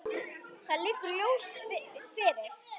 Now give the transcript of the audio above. Það liggur ljóst fyrir.